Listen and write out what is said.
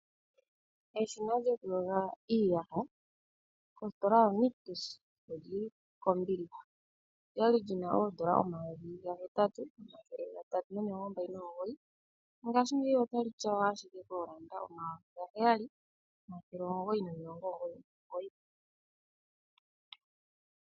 Ositola yoNictus otayi landitha eshina lyokuyoga iiyaha nondando dhalyo odha teyelwa kongolo lela. Olya li li na N$8 329 no ngaashi ngeyi otali tyawa kombilihelela li na N$7 999.